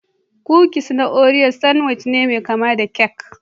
Kukis na Oreas sanwici ne mai kama da kek